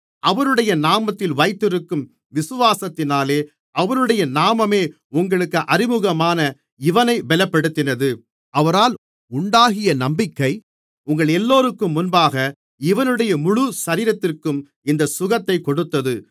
அவருடைய நாமத்தில் வைத்திருக்கும் விசுவாசத்தினாலே அவருடைய நாமமே உங்களுக்கு அறிமுகமான இவனை பெலப்படுத்தினது அவரால் உண்டாகிய நம்பிக்கை உங்களெல்லோருக்கும் முன்பாக இவனுடைய முழுசரீரத்திற்கும் இந்த சுகத்தைக் கொடுத்தது